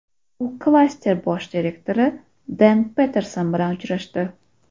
U klaster bosh direktori Den Patterson bilan uchrashdi.